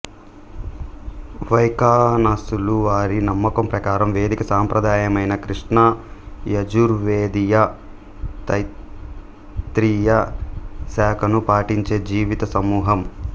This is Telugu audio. వైఖానసులు వారి నమ్మకం ప్రకారం వైదిక సాంప్రదాయమైన కృష్ణ యజుర్వేదీయ తైత్తీరియ శాఖను పాటించే జీవిత సమూహం